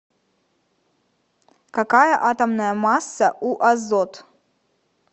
какая атомная масса у азот